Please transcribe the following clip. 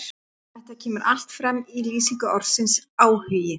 Þetta kemur allt fram í lýsingu orðsins áhugi: